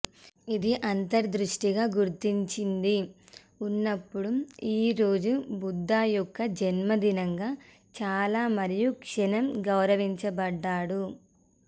ఇది అంతర్దృష్టి గుర్తించింది ఉన్నప్పుడు ఈ రోజు బుద్ధ యొక్క జన్మదినంగా చాలా మరియు క్షణం గౌరవించబడ్డాడు